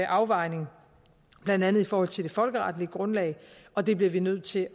afvejning blandt andet i forhold til det folkeretlige grundlag og det bliver vi nødt til